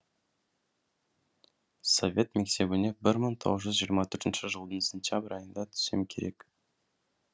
совет мектебіне бір мың тоғыз жүз жиырма төртінші жылдың сентябрь айында түссем керек